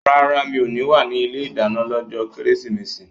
No, I won't be in the kitchen on Chrismas day